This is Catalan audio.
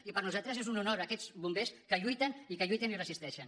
i per nosaltres són un honor aquests bombers que lluiten i que lluiten i resisteixen